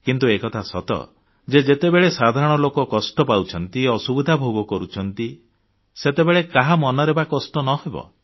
କିନ୍ତୁ ଏକଥା ସତ ଯେ ଯେତେବେଳେ ସାଧାରଣ ଲୋକ କଷ୍ଟ ପାଉଛନ୍ତି ଅସୁବିଧା ଭୋଗ କରୁଛନ୍ତି ସେତେବେଳେ କାହା ମନରେ ବା କଷ୍ଟ ନ ହେବ